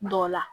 Dɔ la